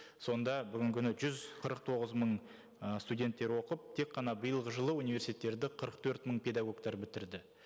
сонда бүгінгі күні жүз қырық тоғыз мың ы студенттер оқып тек қана биылғы жылы университеттерді қырық төрт мың педагогтар бітірді